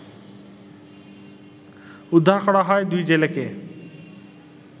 উদ্ধার করা হয় দুই জেলেকে